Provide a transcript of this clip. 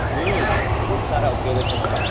હમ ખુબ સારા ઉપયોગ હોય છે mobile ના